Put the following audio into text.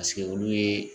Paseke olu ye